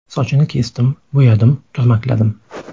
Sochini kesdim, bo‘yadim, turmakladim.